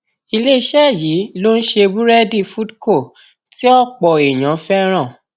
iléeṣẹ yìí ló ń ṣe búrẹdì foodco tí ọpọ èèyàn fẹràn